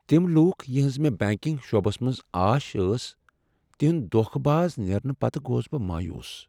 تِم لوٗكھ یہنز مے٘ بینكِنگ شعبس منز آش ٲس تہندِ دوكھہٕ باز نیرنہٕ پتہٕ گوس بہٕ مایوٗس ۔